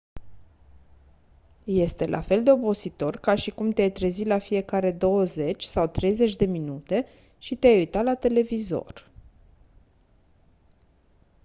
este la fel de obositor ca și cum te-ai trezi la fiecare douăzeci sau treizeci de minute și te-ai uita la televizor